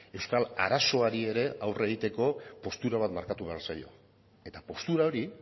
euskal arazoari ere aurre egiteko postura bat markatu behar zaio eta postura hori